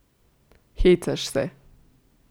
Hecaš se.